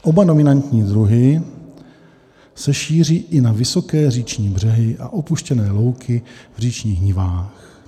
Oba dominantní druhy se šíří i na vysoké říční břehy a opuštěné louky v říčních nivách.